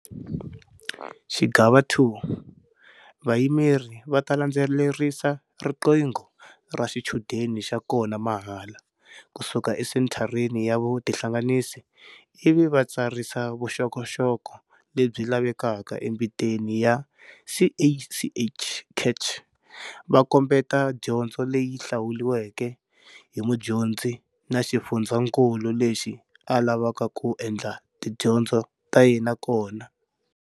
Xigava 2- Vayimeri va ta landzelerisa riqingho ra xichudeni xa kona mahala, ku suka esenthareni ya vutihlanganisi ivi va tsarisa vuxokoxoko lebyi lavekaka embiteni ya CACH, va kombeta dyondzo leyi hlawuriweke hi mudyondzi na xifundzankulu lexi a lavaka ku endla tidyondzo ta yena kona.